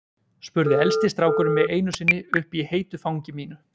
spurði elsti strákurinn mig einu sinni uppi í heitu fangi mínu.